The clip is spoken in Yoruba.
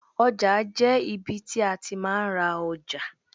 Ọjà jẹ́ ibi tí a ti máa ń ra ọjà.